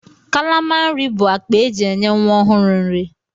Kalama nri bụ akpa e ji enye nwa ọhụrụ nri.